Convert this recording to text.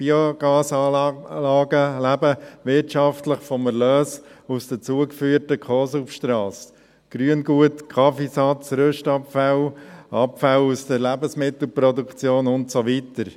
Biogasanlagen leben wirtschaftlich vom Erlös aus den zugeführten Co-Substraten – Grüngut, Kaffeesatz, Rüstabfälle, Abfälle aus der Lebensmittelproduktion und so weiter.